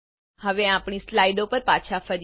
હવે આપણી સ્લાઇડો પર પાછા ફરીએ